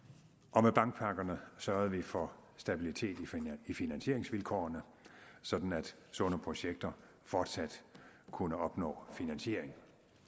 og med bankpakkerne sørgede vi for stabiliteten i finansieringsvilkårene sådan at sunde projekter fortsat kunne opnå finansiering